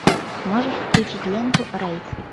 можешь включить ленту рейд